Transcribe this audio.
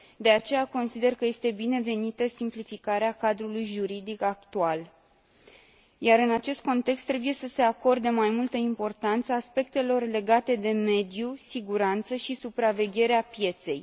De aceea, consider că este binevenită simplificarea cadrului juridic actual, iar în acest context trebuie să se acorde mai multă importanță aspectelor legate de mediu, siguranță și supravegherea pieței.